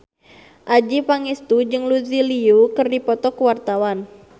Adjie Pangestu jeung Lucy Liu keur dipoto ku wartawan